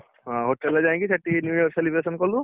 ହଁ ହୋଟେଲ ଯାଇକି ସେଠି newyear celebration କଲୁ